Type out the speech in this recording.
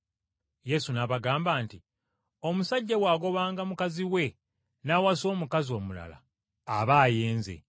Yesu n’abagamba nti, “Omusajja bw’agobanga mukazi we n’awasa omukazi omulala, aba ayenze.